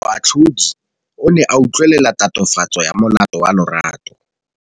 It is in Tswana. Moatlhodi o ne a utlwelela tatofatsô ya molato wa Lerato.